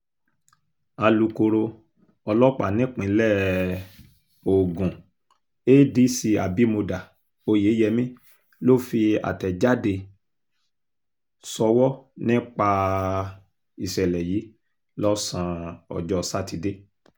alūkkóró ọlọ́pàá nípínlẹ̀ um ogun adc abimodá oyeyèmí ló fi àtẹ̀jáde sọ́wọ́ nípa um ìṣẹ̀lẹ̀ yìí lọ́sàn-án ọjọ́ sátidé